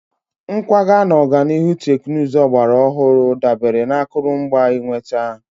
Nkwaga na ọganihu teknụzụ ọgbara ọhụrụ dabere na akụrụngwa ịnweta.